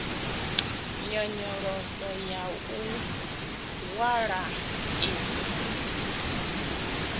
nyonyoloso ya u hwala i